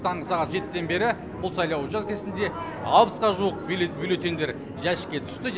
таңғы сағат жетіден бері бұл сайлау учаскесінде алпысқа жуық бюлеттеньдер жәшікке түсті